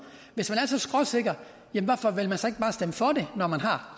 hvis man er så skråsikker hvorfor vil man så ikke bare stemme for det når man har